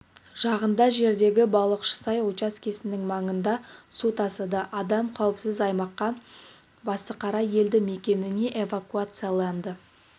жағында жердегі балықшысай учаскесінің маңында су тасыды адам қауіпсіз аймаққа басықара елді мекеніне эвакуацияланды